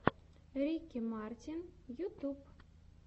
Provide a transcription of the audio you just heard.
рики мартин ютьюб